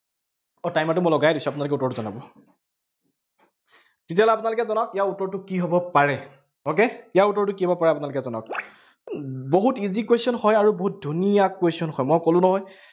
আহ timer টো মই লগায়েই দিছো আপোনালোকে উত্তৰটো জনাব তেতিয়া হলে আপোনালোকে জনাওক ইয়াৰ উত্তৰটো কি হব পাৰে, okay ইয়াৰ উত্তৰটো কি হব পাৰে আপোনালোকে জনাওক। বহুত easy question হয় আৰু বহুত ধুনীয়া question হয়, মই কলো নহয়